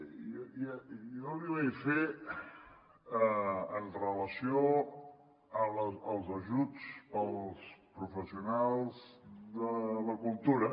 i jo li vaig fer amb relació als ajuts per als professionals de la cultura